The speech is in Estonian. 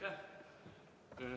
Aitäh!